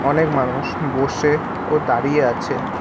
অনেক মানুষ বসে ও দাঁড়িয়ে আছে।